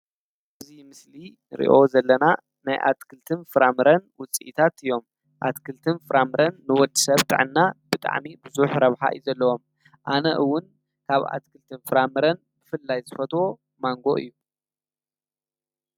እዚ ንሪኦ ዘለና ናይ ኣትክልትን ፍራምረን ውፅኢታት እዮም፡፡ ኣትክልትን ፍራምረን ንወዲሰብ ጥዕና ብጣዕሚ ብዙሕ ረብሓ እዩ ዘለዎም፡፡ ኣነ እውን ካብ ኣትክልትን ፍራምረን ብፍላይ ዝፈትዎ ማንጎ እዩ፡፡